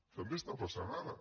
també està passant ara